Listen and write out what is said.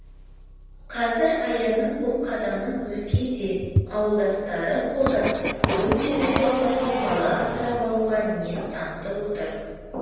қазір аянның бұл қадамын өзге де ауылдастары қолдап бүгінде үш отбасы бала асырап алуға ниет танытып отыр